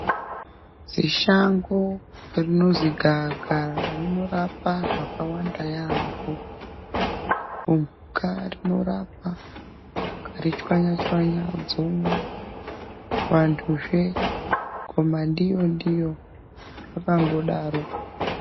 Shango rinonzi gava kava rinoraoa zvakawanda yambo rinorapa ukati tswanya tswanya kuvantu ngoma ndiyo ndiyo zvakangodaro.